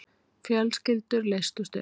Fjölskyldur leystust upp.